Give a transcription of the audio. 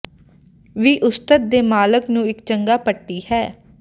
ਵੀ ਉਸਤਤ ਦੇ ਮਾਲਕ ਨੂੰ ਇੱਕ ਚੰਗਾ ਪੱਟੀ ਹੈ